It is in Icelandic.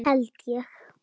Held ég!